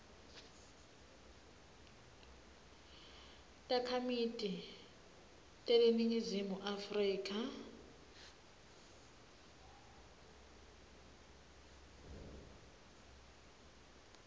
takhamiti teleningizimu afrika